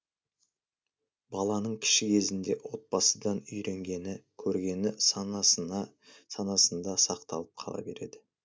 баланың кіші кезінде отбасыдан үйренгені көргені санасында сақталып қала береді